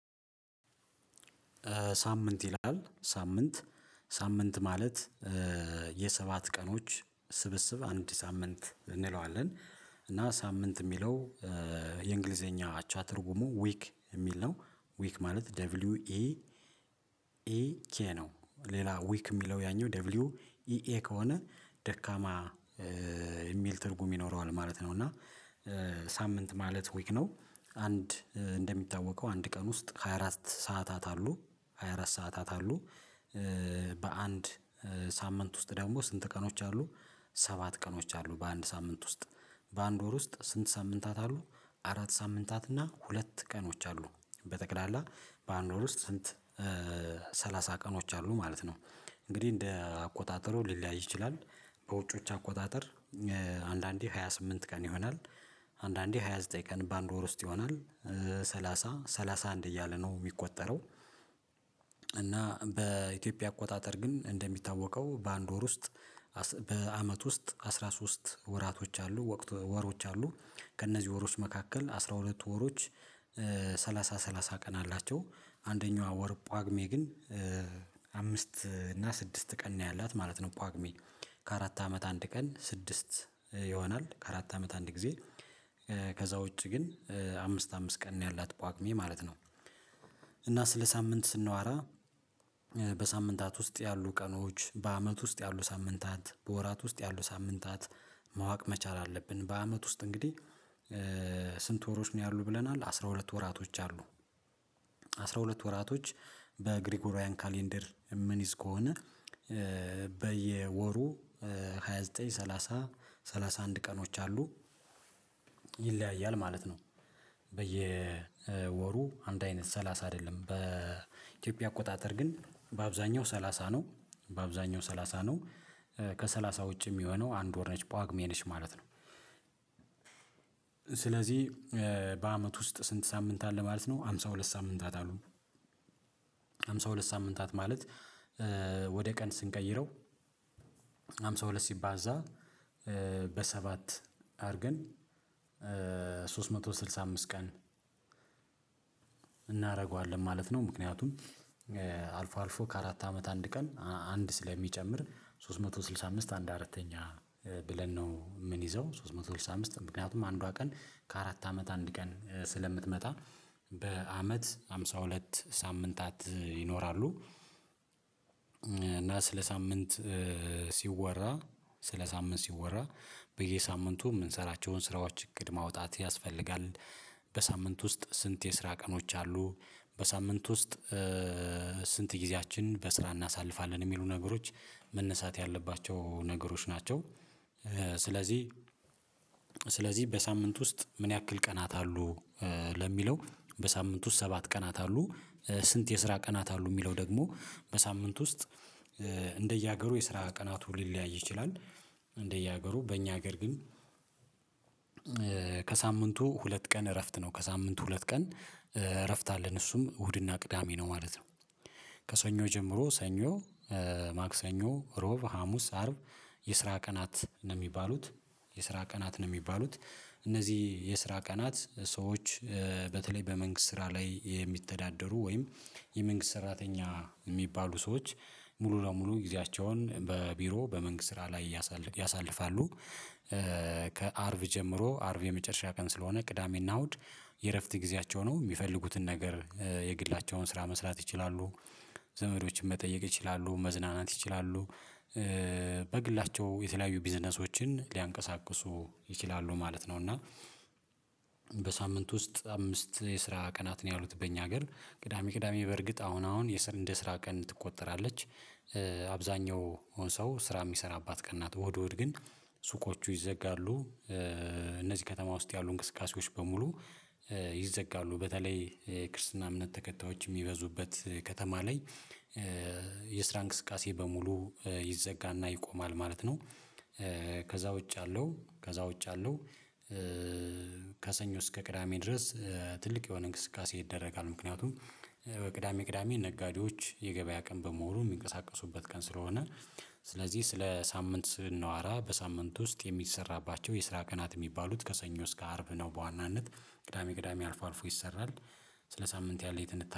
ሳምንት ይላል ሳምንት ሳምንት ማለት የሰባት ቀኖች ስብስብ አንድ ሳምንት እንለዋለን። እና ሳምንት የሚለው የእንግሊዘኛ አቻ ትርጉሙ 'ዊክ' የሚል ነው። 'ዊክ' ማለት 'ደብሊው። ኢ። ኤ። ኬ' ነው። ሌላ 'ዊክ' የሚለው ያኛው 'ደብሊው ኢ። ኤ' ከሆነ ደካማ የሚል ትርጉም ይኖረዋል ማለት ነው። እና ሳምንት ማለት 'ዊክ' ነው። አንድ እንደሚታወቀው አንድ ቀን ውስጥ ሃያ አራት ሰዓታት አሉ። ሃያ አራት ሰዓታት አሉ። በአንድ ሳምንት ውስጥ ደግሞ ስንት ቀኖች አሉ? ሰባት ቀኖች አሉ። በአንድ ሳምንት ውስጥ በአንድ ወር ውስጥ ስንት ሳምንታት አሉ? አራት ሳምንታት እና ሁለት ቀኖች አሉ። በጠቅላላ በአንድ ወር ውስጥ ሰንት ሰላሳ ቀኖች አሉ ማለት ነው። እንግዲህ እንደ አቆጣጠሩ ሊለያይ ይችላል። በውጮች አቆጣጠር አንዳንዴ ሃያ ስምንት ቀን ይሆናል። አንድአንዴ ሃያ ዘጠኝ ቀን በአንድ ወር ውስጥ ይሆናል ሰላሳ፣ ሰላሳ አንድ እያለ ነው የሚቆጠረው እና በኢትዮጵያ አቆጣጠር ግን እንደሚታወቀው በአንድ ወር ውስጥ በአመት ውስጥ አስራ ሶስት ወራቶች አሉ። ወሮች አሉ። ከእነዚህ ወሮች መካከል አስራ ሁለት ወሮች ሰላሳ ሰላሳ ቀን አላቸው አንደኛዋ ወር ጳጉሜ ግን አምስት እና ስድስት ቀን ነው ያላት ማለት ነው። ጳግሜ ከአራት አመት አንድ ቀን ስድስት ይሆናል ከአራት አመት አንድ ጊዜ። ከዛ ውጪ ግን አምስት አምስት ቀን ነው ያላት ጳጉሜ ማለት ነው። እና ስለ ሳምንት ስናዋራ በሳምንታት ውስጥ ያሉ ቀኖች በአመት ውስጥ ያሉ ሳምንታት በወራት ውስጥ ያሉ ሳምንታት ማወቅ መቻል አለብን። በአመት ውስጥ እንግዲህ ስንት ወሮች ነው ያሉ ብለናል አስራ ሁለት ወራቶች አሉ። አስራ ሁለት ወራቶች በግሪጎሪያን ካሌንደር የምንይዝ ከሆነ በየወሩ ሃያ ዘጠኝ፣ ሰላሳ፣ ሰላሳ አንድ ቀኖች አሉ። ይለያያል ማለት ነው በየወሩ አንድ አይነት ሰላሳ አይደለም በኢትዮጵያ አቆጣጠር ግን በአብዛኛው ሰላሳ ነው። በአብዛኛው ሰላሳ ነው። ከሰላሳ ውጪ የሚሆነው አንድ ወር ነች ጳጉሜ ነች ማለት ነው። ስለዚህ በአመት ውስጥ ስንት ሳምንት አለ ማለት ነው? ሃምሳ ሁለት ሳምንታት አሉ ሃምሳ ሁለት ሳምንታት ማለት ወደ ቀን ስንቀይረው ሃምሳ ሁለት ሲባዛ በሰባት አድርገን ሶስት መቶ ስድሳ አምስት ቀን እናደርገዋለን ማለት ነው። ምክንያቱም አልፎ አልፎ ከአራት አመት አንድ ቀን አንድ ስለሚጨምር ሶስት መቶ ስድሳ አምስት አንድ አራተኛ ብለን ነው ምን ይዘው። ሶስት መቶ ስልሳ አምስት ምክንያቱም አንዷ ቀን ከአራት አመት አንድ ቀን ስለምትመጣ በአመት ሃምሳ ሁለት ሳምንታት ይኖራሉ። እና ስለ ሳምንት ሲወራ ስለ ሳምንት ሲወራ በየሳምንቱ የምንሰራቸውን ስራዎች እቅድ ማውጣት ያስፈልጋል። በሳምንት ውስጥ ስንት የስራ ቀኖች አሉ በሳምንት ውስጥ ስንት ጊዜያችንን በስራ እናሳልፋለን? የሚሉ ነገሮች መነሳት ያለባቸው ነገሮች ናቸው። ስለዚህ ስለዚህ በሳምንት ውስጥ ምን ያክል ቀናት አሉ ለሚለው በሳምንት ውስጥ ሰባት ቀናት አሉ። ስንት የስራ ቀናት አሉ? የሚለው ደግሞ በሳምንት ውስጥ እንደየሀገሩ የስራ ቀናቱ ሊለያይ ይችላል። እንደየሀገሩ በእኛ ሀገር ግን ከሳምንቱ ሁለት ቀን እረፍት ነው። ከሳምንቱ ሁለት ቀን እረፍት አለን። እሱም እሁድ እና ቅዳሜ ነው ማለት ነው። ከሰኞ ጀምሮ ሰኞ፣ ማክሰኞ፣ ሮብ፣ ሀሙስ፣ አርብ የስራ ቀናት ነው የሚባሉት የስራ ቀናት ነው የሚባሉት። እነዚህ የስራ ቀናት ሰዎች በተለይ በመንግስት ስራ ላይ የሚተዳደሩ ወይም የመንግስት ሰራተኛ የሚባሉ ሰዎች ሙሉ ለሙሉ ጊዜያቸውን በቢሮ በመንግስት ስራ ላይ ያሳልፋሉ። ከአርብ ጀምሮ አርብ የመጨረሻ ቀን ስለሆነ ቅዳሜ እና እሁድ የእረፍት ጊዜያቸው ነው። የሚፈልጉትን ነገር የግላቸውን ስራ መስራት ይችላሉ፣ ዘመዶችን መጠየቅ ይችላሉ፣ መዝናናት ይችላሉ በግላቸው የተለያዩ ቢዝነሶችን ሊያንቀሳቅሱ ይችላሉ ማለት ነው። እና በሳምንት ውስጥ አምስት የስራ ቀናት ነው ያሉት በእኛ ሀገር። ቅዳሜ ቅዳሜ በእርግጥ አሁን አሁን እንደ ስራ ቀን ትቆጠራለች። አብዛኛው ሰው ስራ የሚሰራበት ቀንናት እሁድ እሁድ ግን ሱቆቹ ይዘጋሉ። እነዚህ ከተማ ውስጥ ያሉ እንቅስቃሴዎች በሙሉ ይዘጋሉ። በተለይ የክርስትና እምነት ተከታዮች የሚበዙበት ከተማ ላይ የስራ እንቅስቃሴ በሙሉ ይዘጋና ይቆማል ማለት ነው። ከዛ ውጭ ያለው ከዛ ውጭ ያለው ከሰኞ እስከ ቅዳሜ ድረስ ትልቅ የሆነ እንቅስቃሴ ይደረጋል። ምክንያቱም ቅዳሜ ቅዳሜ ነጋዴዎች የገበያ ቀን በመሆኑ የሚንቀሳቀሱበት ቀን ስለሆነ ስለዚህ ስለ ሳምንት ስናወራ በሳምንት ውስጥ የሚሰራባቸው የስራ ቀናት የሚባሉት ከሰኞ እስከ አርብ ነው በዋናነት። ቅዳሜ ቅዳሜ አልፎ አልፎ ይሰራል። ስለ ሳምንት ያለኝን